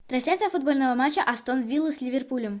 трансляция футбольного матча астон вилла с ливерпулем